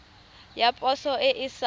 ya poso e e sa